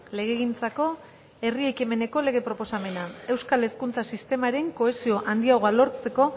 legegintzako herri ekimeneko lege proposamena euskal hezkuntza sistemaren kohesio handiagoa lortzen